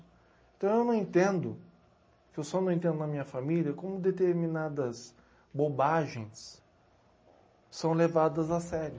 Então eu não entendo, eu só não entendo na minha família como determinadas bobagens são levadas a sério.